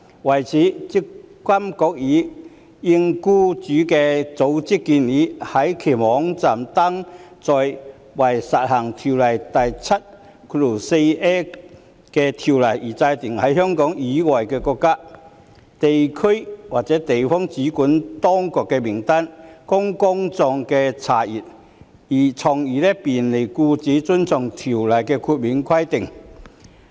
為此，積金局已應僱主組織的建議，在其網頁登載為施行《條例》第 74a 條而制訂的在香港以外的國家、地區或地方的主管當局名單，供公眾查閱，從而便利僱主遵從《條例》的豁免規定。